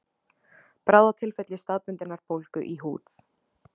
bráðatilfelli staðbundinnar bólgu í húð